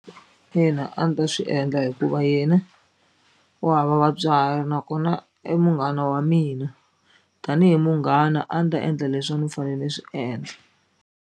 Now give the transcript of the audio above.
Ina, a ni ta swi endla hikuva yena u hava vatswari nakona i munghana wa mina tanihi munghana a ni ta endla leswi a ni fane ni swi endla.